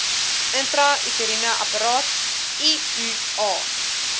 intrauteriene apparaat iua